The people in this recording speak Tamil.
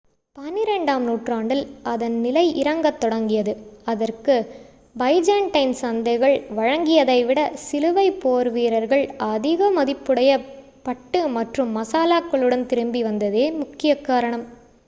பனிரெண்டாம் நூற்றாண்டில் அதன் நிலை இறங்கத் தொடங்கியது அதற்கு பைஜேன்டைன் சந்தைகள் வழங்கியதைவிட சிலுவைப் போர்வீரர்கள் அதிக மதிப்புடைய பட்டு மற்றும் மசாலாக்களுடன் திரும்பி வந்ததே முக்கிய காரணம்